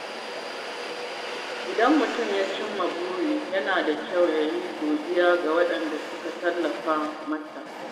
Idan mutum ya cimma wani buri, yana da kyau ya yi godiya ga waɗanda suka tallafa masa.